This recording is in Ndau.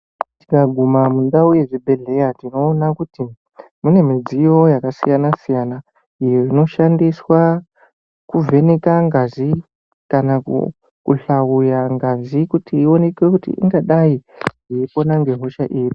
Tikaguma mundau yechibhedhlera tinoona kuti munemidziyo yakasiyana-siyana, iyo inoshandiswa kuvheneka ngazi kanakuhlauya ngazi kuti ioneke kuti ingadai yeipona ngehosha iri.